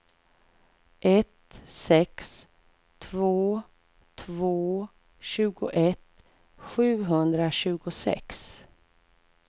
ett sex två två tjugoett sjuhundratjugosex